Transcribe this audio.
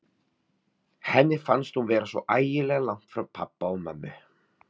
Henni fannst hún vera svo ægilega langt frá pabba og mömmu.